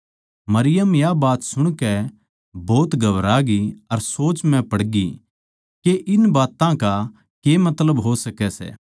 मरियम या बात सुणकै भोत घबरा ग्यी अर सोच म्ह पड़गी कै इन बात्तां का के मतलब हो सकै सै